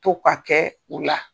To ka kɛ u la.